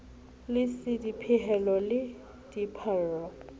le c dipehelo le dipallo